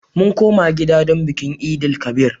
Mun koma gida don bikin Eid-el-kabir.